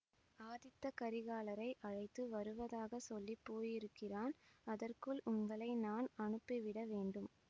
ஆதித்த கரிகாலரை அழைத்து வருவதாக சொல்லி போயிருக்கிறான் அதற்குள் உங்களை நான் அனுப்பிவிட வேண்டும்